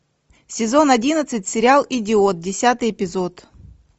сезон одиннадцать сериал идиот десятый эпизод